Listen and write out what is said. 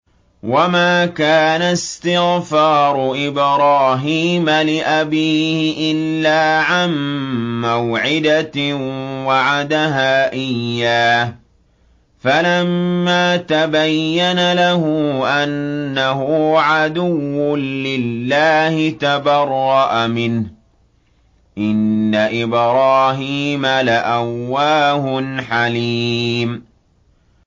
وَمَا كَانَ اسْتِغْفَارُ إِبْرَاهِيمَ لِأَبِيهِ إِلَّا عَن مَّوْعِدَةٍ وَعَدَهَا إِيَّاهُ فَلَمَّا تَبَيَّنَ لَهُ أَنَّهُ عَدُوٌّ لِّلَّهِ تَبَرَّأَ مِنْهُ ۚ إِنَّ إِبْرَاهِيمَ لَأَوَّاهٌ حَلِيمٌ